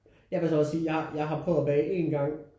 Jeg vil så også sige jeg har prøvet at bage én gang